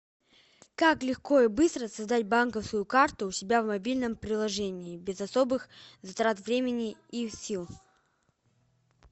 как легко и быстро создать банковскую карту у себя в мобильном приложении без особых затрат времени и сил